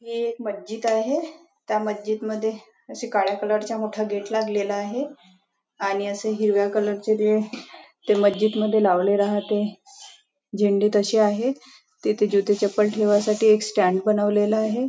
हे एक मस्जिद आहे त्या मस्जिद मध्ये असं काळ्या कलर चा मोठा गेट लागलेला आहे आणि असं हिरव्या कलर च ते ते मस्जिद मध्ये लावलेलं आहे ते झेंडे तसे आहेत तिथे जुते चप्पल ठेवाण्या साठी एक स्टॅन्ड बनवलेला आहे.